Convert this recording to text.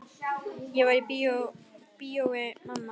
Ég var í bíói mamma.